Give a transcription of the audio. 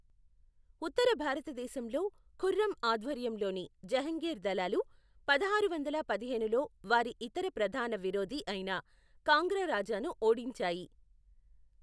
ఉత్తర భారతదేశంలో, ఖుర్రం ఆధ్వర్యంలోని జహంగీర్ దళాలు, పదహారు వందల పదిహేనులో వారి ఇతర ప్రధాన విరోధి అయిన కాంగ్రా రాజాను ఓడించాయి.